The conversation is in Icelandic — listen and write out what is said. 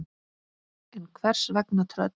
En hvers vegna tröll?